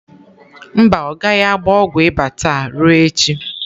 Mba, ọ gaghị agba ọgwụ ịba taa, ruo echi.